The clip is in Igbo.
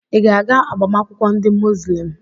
Ị ga-aga agbamakwụkwọ ndị Muzlem?